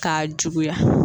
K'a juguya